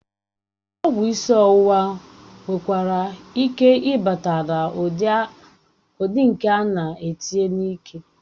Ọgwụ isi ọwụwa nwekwara ike ịbata na ụdị nke ánà etinye n'ike